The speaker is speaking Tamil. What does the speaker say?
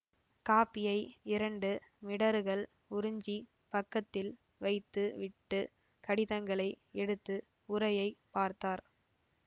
காப்பியை இரண்டு மிடறுகள் உறிஞ்சி பக்கத்தில் வைத்து விட்டு கடிதங்களை எடுத்து உறையைப் பார்த்தார்